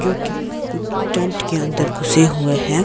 जो कि कुछ टेंट के अंदर घुसे हुए हैं।